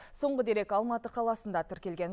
соңғы дерек алматы қаласында тіркелген